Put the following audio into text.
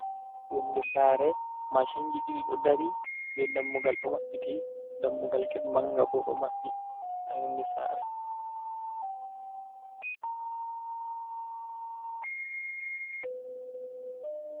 Yonnde saare maacinji ɗiɗi ɗo dari, be dammugal ɗo maɓɓiti, dammugal ged mannga bo ɗo maɓɓi, haa yonnde saare.